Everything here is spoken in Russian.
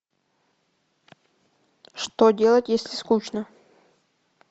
что делать если скучно